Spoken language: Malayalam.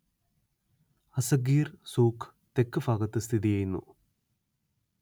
അസ്സഗീർ സൂഖ് തെക്ക് ഭാഗത്ത് സ്ഥിതി ചെയ്യുന്നു